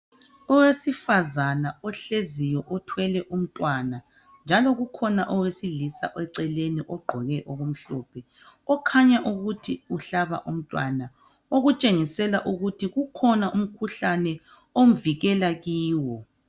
Owesifazana ohleziyo uthwele umntwana. Njalo kukhona owesilisa eceleni ogqoke okumhlophe okhanya ukuthi uhlaba umntwana Okutshengisela ukuthi kukhona umkhuhlane avikele kiwo.